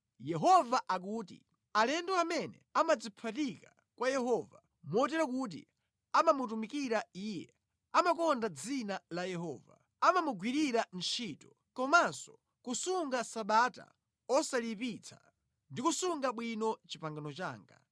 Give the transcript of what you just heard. Yehova akuti, “Alendo amene amadziphatika kwa Yehova, motero kuti amamutumikira Iye, amakonda dzina la Yehova, amamugwirira ntchito, komanso kusunga Sabata osaliyipitsa ndi kusunga bwino pangano langa,